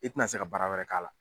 I ti na se ka baara wɛrɛ k'a la.